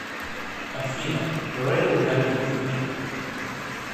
афина рэйл галимов клипы